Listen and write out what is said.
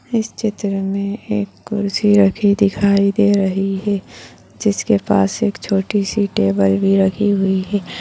इस चित्र में एक कुर्सी रखी दिखाई दे रही है जिसके पास एक छोटी सी टेबल भी रखी हुई है।